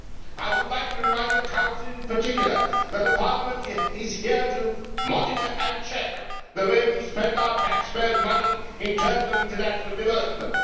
I would like to remind the Council in particular that Parliament is here to monitor and check the way we spend our taxpayers' money in terms of international development.